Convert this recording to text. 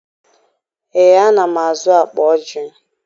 Ee, ana m azụ akpa ojii.